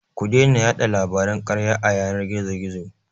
Ku daina yaɗa labaran karya a yanar gizo-gizo.